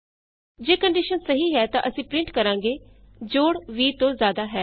ਜੇ ਕੰਡੀਸ਼ਨ ਸਹੀ ਹੈ ਤਾਂ ਅਸੀਂ ਪਰਿੰਟ ਕਰਾਂਗੇ ਜੋੜ 20 ਤੋਂ ਜਿਆਦਾ ਹੈ